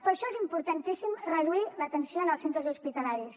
per això és importantíssim reduir la tensió en els centres hospitalaris